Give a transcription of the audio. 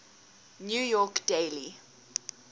new york daily